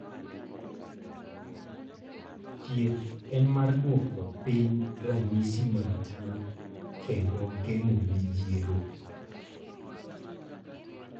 Thieth en mar duoko piny ranyisi mag tuo kendo geng'o midhiero.